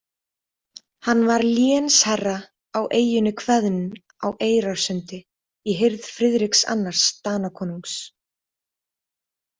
Hann var lénsherra á eyjunni Hveðn á Eyrarsundi, í hirð Friðriks annars Danakonungs.